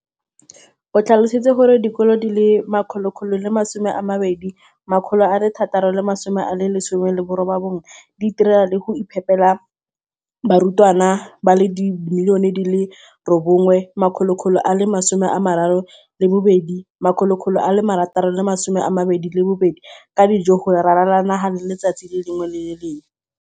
o tlhalositse gore dikolo di le 20 619 di itirela le go iphepela barutwana ba le 9 032 622 ka dijo go ralala naga letsatsi le lengwe le le lengwe.